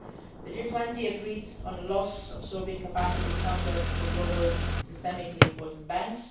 Union. The G20 agreed on a loss absorbing capacity standard for global systemically important